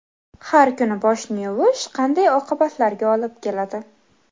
Har kuni boshni yuvish qanday oqibatlarga olib keladi?.